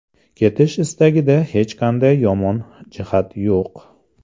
Ketish istagida hech qanday yomon jihat yo‘q.